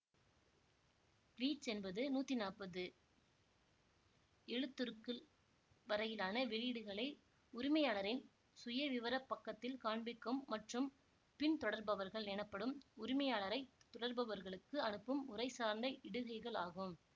tweets என்பது நூத்தி நாப்பது எழுத்துருக்கள் வரையிலான வெளியீடுகளை உரிமையாளரின் சுயவிவரப் பக்கத்தில் காண்பிக்கும் மற்றும் பின்தொடர்பவர்கள் எனப்படும் உரிமையாளரைத் தொடர்பவர்களுக்கு அனுப்பும் உரைசார்ந்த இடுகைகள் ஆகும்